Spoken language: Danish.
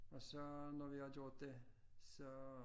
Og så når vi har gjort det så